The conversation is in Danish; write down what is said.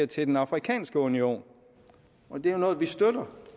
til den afrikanske union og det er jo noget vi støtter